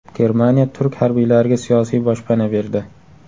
Germaniya turk harbiylariga siyosiy boshpana berdi.